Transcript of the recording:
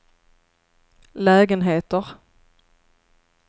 lägenheter